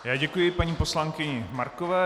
Já děkuji paní poslankyni Markové.